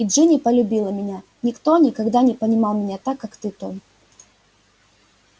и джинни полюбила меня никто никогда не понимал меня так как ты том